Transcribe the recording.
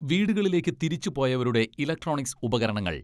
വീടുകളിലേക്ക് തിരിച്ചു പോയവരുടെ ഇലക്ട്രോണിക്സ് ഉപകരണങ്ങൾ